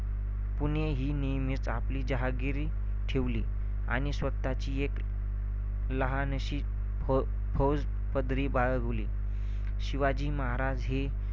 पुणे ही नेहमीच आपली जहागिरी ठेवली आणि स्वतःची एक लहानशी फ~ फौजपदरी बाळगली. शिवाजी महाराज हे